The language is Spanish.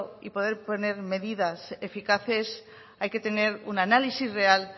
y poder poner medidas eficaces hay que tener un análisis real